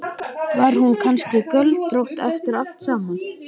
Var hún kannski göldrótt eftir allt saman?